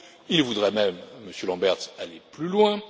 Il voudrait même, Monsieur Lamberts, aller plus loin.